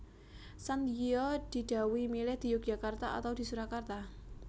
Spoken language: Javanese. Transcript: Sandiyo di dhawuhi milih di Yogyakarta atau di Surakarta